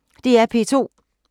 DR P2